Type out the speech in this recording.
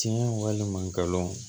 Tiɲɛ walima galon